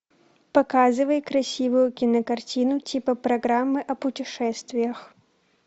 показывай красивую кинокартину типа программы о путешествиях